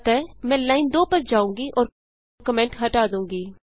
अतः मैं लाइन 2 पर जाऊँगी और कमेंट हटा दूँगी